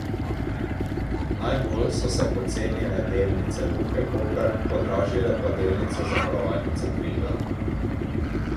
Najbolj so se pocenile delnice Luke Koper, podražile pa delnice Zavarovalnice Triglav.